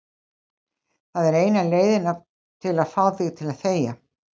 Það er eina leiðin til að fá þig til að þegja.